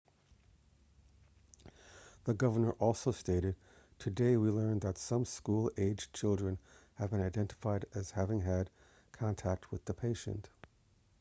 the governor also stated today we learned that some school aged children have been identified as having had contact with the patient